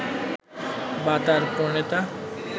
বা তার প্রণেতা